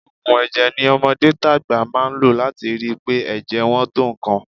Òògùn ẹ̀jẹ̀ ni ọmọdé tàgbà máa ń lò láti rí i pé ẹ̀jẹ̀ wọn tó nǹkan